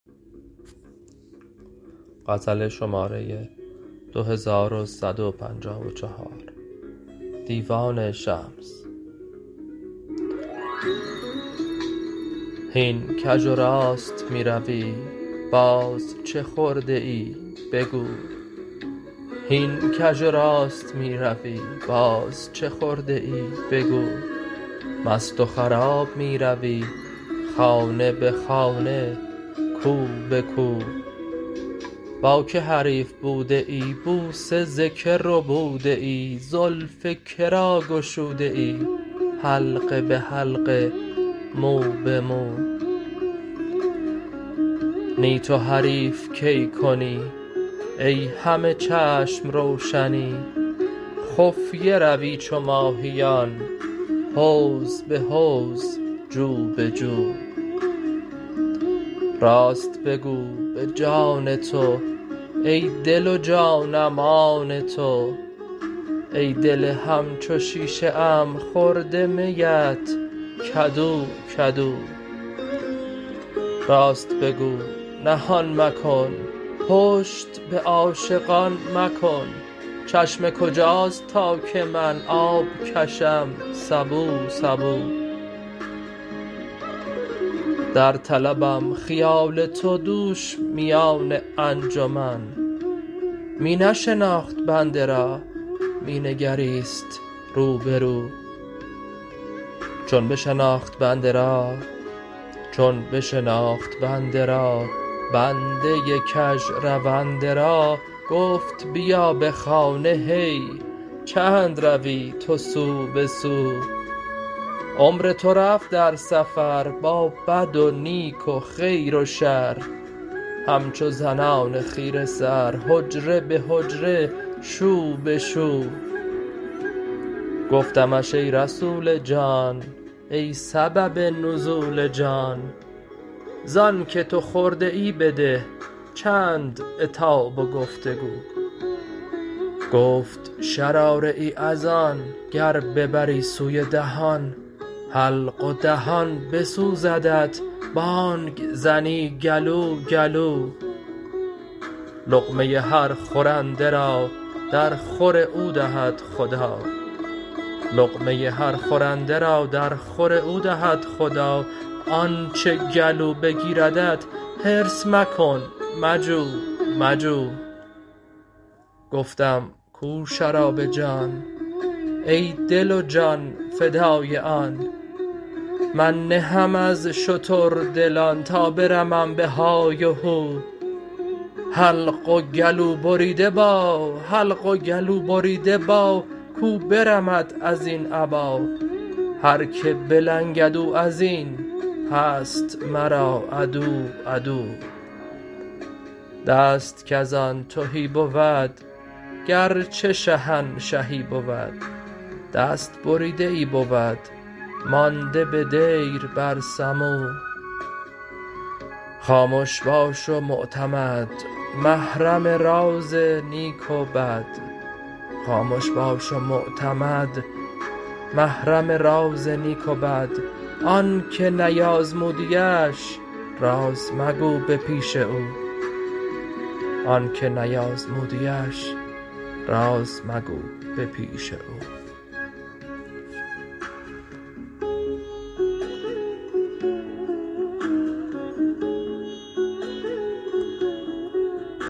هین کژ و راست می روی باز چه خورده ای بگو مست و خراب می روی خانه به خانه کو به کو با کی حریف بوده ای بوسه ز کی ربوده ای زلف که را گشوده ای حلقه به حلقه مو به مو نی تو حریف کی کنی ای همه چشم و روشنی خفیه روی چو ماهیان حوض به حوض جو به جو راست بگو به جان تو ای دل و جانم آن تو ای دل همچو شیشه ام خورده میت کدو کدو راست بگو نهان مکن پشت به عاشقان مکن چشمه کجاست تا که من آب کشم سبو سبو در طلبم خیال تو دوش میان انجمن می نشناخت بنده را می نگریست رو به رو چون بشناخت بنده را بنده کژرونده را گفت بیا به خانه هی چند روی تو سو به سو عمر تو رفت در سفر با بد و نیک و خیر و شر همچو زنان خیره سر حجره به حجره شو به شو گفتمش ای رسول جان ای سبب نزول جان ز آنک تو خورده ای بده چند عتاب و گفت و گو گفت شراره ای از آن گر ببری سوی دهان حلق و دهان بسوزدت بانگ زنی گلو گلو لقمه هر خورنده را درخور او دهد خدا آنچ گلو بگیردت حرص مکن مجو مجو گفتم کو شراب جان ای دل و جان فدای آن من نه ام از شتردلان تا برمم به های و هو حلق و گلوبریده با کو برمد از این ابا هر کی بلنگد او از این هست مرا عدو عدو دست کز آن تهی بود گرچه شهنشهی بود دست بریده ای بود مانده به دیر بر سمو خامش باش و معتمد محرم راز نیک و بد آنک نیازمودیش راز مگو به پیش او